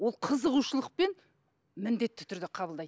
ол қызығушылықпен міндетті түрде қабылдайды